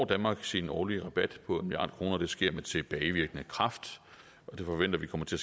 danmark sin årlige rabat på en milliard kroner det sker med tilbagevirkende kraft og vi forventer det kommer til